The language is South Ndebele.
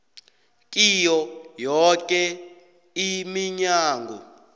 kiyo yoke iminyango